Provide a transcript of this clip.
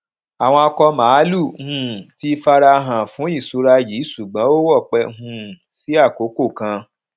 àwọn akọ mààlúù um ti farahàn fún ìṣura yìí ṣùgbọn ó wọpẹ um sí akókò kan